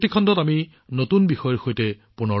তেতিয়ালৈকে মই আপোনালোকৰ পৰা বিদায় লৈছো